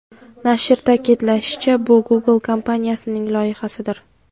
Nashr ta’kidlashicha, bu Google kompaniyasining loyihasidir.